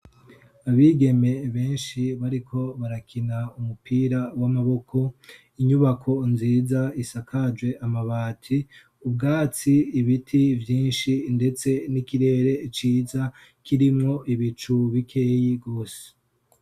Abigeme benshi bariko barakina umupira w'amaboko inyubako nziza isakaje amabati ubwatsi ibiti vyinshi ndetse n'ikirere ciza kirimo ibicu bikeyi gose.